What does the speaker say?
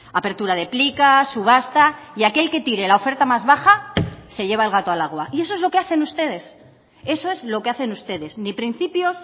apertura de plicas subasta y aquel que tire la oferta más baja se lleva el gato al agua y eso es lo que hacen ustedes eso es lo que hacen ustedes ni principios